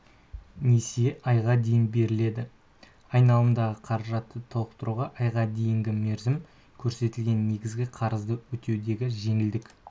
несие айға дейін беріледі айналымдағы қаражатты толтықтыруға айға дейінгі мерзім көрсетілген негізгі қарызды өтеудегі жеңілдік